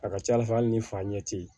A ka ca ala fɛ hali ni fa ɲɛ ti